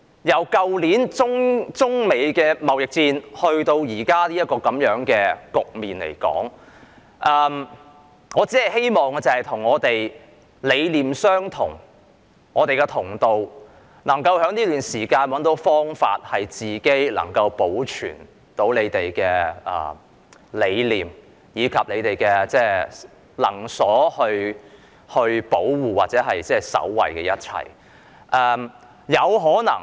由去年中美貿易戰至現時這個局面，我只希望與理念相同的同道人在這段時間找到方法，保存自己的理念和能所保護或守衞的一切。